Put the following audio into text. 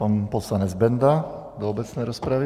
Pan poslanec Benda do obecné rozpravy.